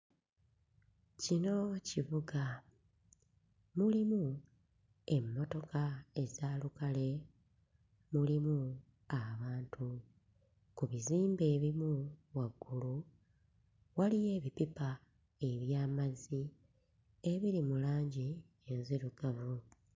Kino kibuga mulimu emmotoka eza lukale, mulimu abantu, ku bizimbe ebimu waggulu waliyo ebipipa eby'amazzi ebiri mu langi enzirugavu.